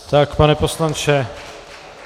Tak, pane poslanče.